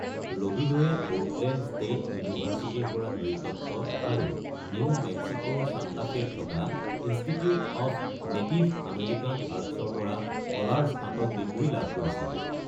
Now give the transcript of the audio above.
ৰবিড'য়ে Portland State ইউনিভাৰ্চিটিৰ পৰা নৃতত্ত্ব আৰু নিউ মেক্সিক’ৰ ছাণ্টা ফেত থকা ইনষ্টিটিউট অফ নেটিভ আমেৰিকান আৰ্টছৰ পৰা কলাৰ স্নাতক ডিগ্ৰী লাভ কৰিছিল।